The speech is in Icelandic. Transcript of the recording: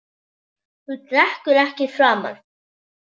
Þú drekkur ekki framar.